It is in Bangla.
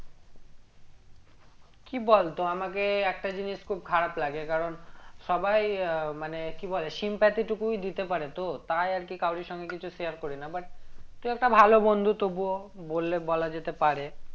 কি বলতো আমাকে একটা জিনিস খুব খারাপ লাগে কারণ সবাই আহ মানে কি বলে sympathy টুকুই দিতে পারে তো তাই আরকি কারোরির সঙ্গে কিছু share করি না but তুই একটা ভালো বন্ধু তবুও বললে বলা যেতে পারে